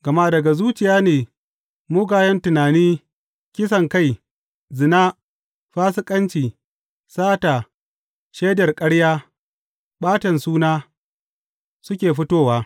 Gama daga zuciya ne mugayen tunani, kisankai, zina, fasikanci, sata, shaidar ƙarya, ɓatan suna, suka fitowa.